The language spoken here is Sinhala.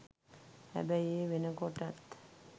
හැබැයි ඒ වෙනකොටත්